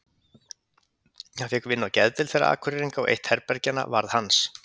Hann fékk vinnu á geðdeild þeirra Akureyringa og eitt herbergjanna varð hans.